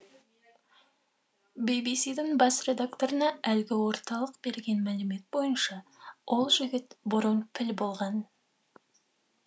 би би сидің бас редакторына әлгі орталық берген мәлімет бойынша ол жігіт бұрын піл болған